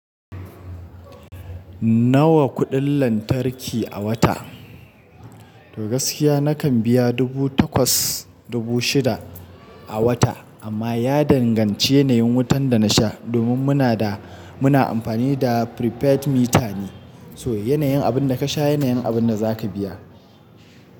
Nawa kuɗin lantarki a wata? Tl gaskiya nakan biya dubu takwas dubu shida a wata amma ya danganci yanayin wutan da nasha domin muna da muna amfani da prepaid meter ne. So yanayin abin da ka sha yanayin abin da za ka biya.